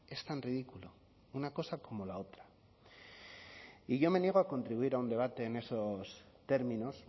es tan ridículo una cosa como la otra y yo me niego a contribuir a un debate en esos términos